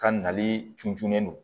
Ka nali tununen don